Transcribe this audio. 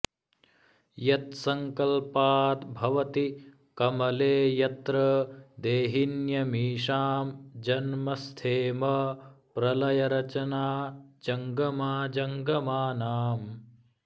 यत्सङ्कल्पाद्भवति कमले यत्र देहिन्यमीषां जन्म स्थेम प्रलय रचना जङ्गमाजङ्गमानाम्